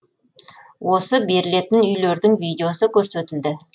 осы берілетін үйлердің видеосы көрсетілді